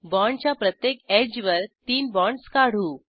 बाँडच्या प्रत्येक एड्ज वर तीन बाँडस काढू